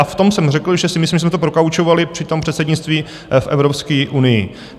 A v tom jsem řekl, že si myslím, že jsme to prokaučovali při tom předsednictví v Evropské unii.